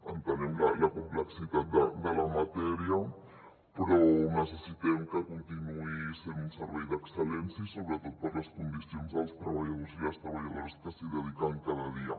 entenem la complexitat de la matèria però necessitem que continuï sent un servei d’excel·lència i sobretot per les condicions dels treballadors i les treballadores que s’hi dediquen cada dia